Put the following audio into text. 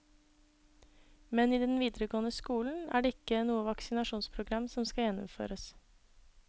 Men i den videregående skolen er det ikke noe vaksinasjonsprogram som skal gjennomføres.